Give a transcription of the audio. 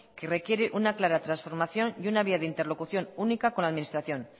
que requiere una clara transformación y una vía de interlocución única con la administración